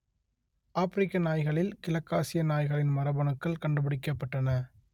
ஆப்பிரிக்க நாய்களில் கிழக்காசிய நாய்களின் மரபணுக்கள் கண்டுபிடிக்கப்பட்டன